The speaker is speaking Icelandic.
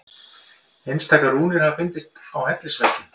Einstaka rúnir hafa fundist á hellisveggjum.